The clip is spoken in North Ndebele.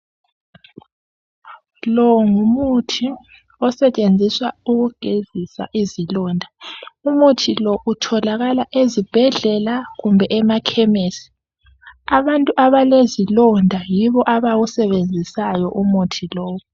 Lo ngumuthi osetshenziswa ukugezisa izilonda. Umuthi lo utholakala ezibhedlela kumbe emakhemesi. Abantu abalezilonda yibo abawusebenzisayo umuthi lowu.